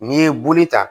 N'i ye buli ta